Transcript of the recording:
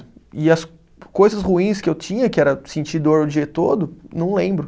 E as coisas ruins que eu tinha, que era sentir dor o dia todo, não lembro.